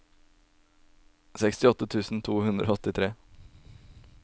sekstiåtte tusen to hundre og åttitre